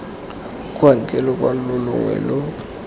kwa ntle lokwalo longwe lo